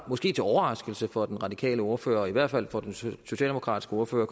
måske til overraskelse for den radikale ordfører og i hvert fald for den socialdemokratiske ordfører